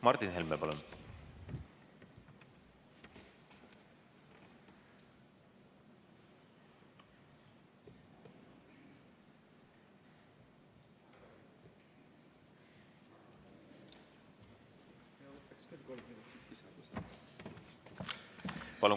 Martin Helme, palun!